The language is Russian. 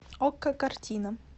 окко картина